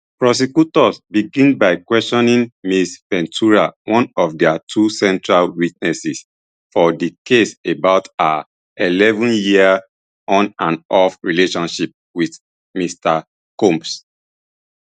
prosecutors begin by questioning ms ventura one of dia two central witnesses for di case about her eleven year onandoff relationship wit mr combs